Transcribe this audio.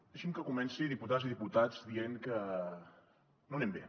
deixin me que comenci diputades i diputats dient que no anem bé